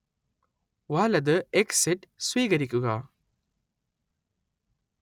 വലത് എക്സിറ്റ് സ്വീകരിക്കുക